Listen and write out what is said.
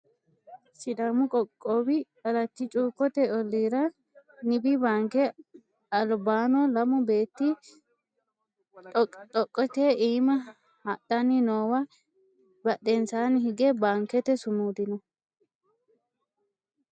SIdaamu qoqqowi alatti cuukkote ollira nibi baanke albaanno lamu beetti dhoqqi dhoqqete iima hadhanni noowa badhensaanni hige baankete sumudi no